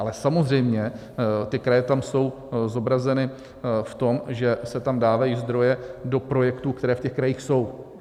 Ale samozřejmě ty kraje tam jsou zobrazeny v tom, že se tam dávají zdroje do projektů, které v těch krajích jsou.